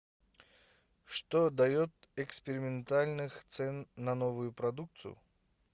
что дает экспериментальных цен на новую продукцию